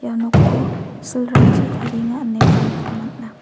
ia nokko silrangchi tarienga ineba nikna man·a.